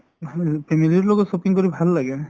ভাল family ৰ লগত shopping কৰি ভাল লাগে